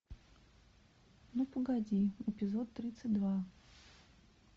ну погоди эпизод тридцать два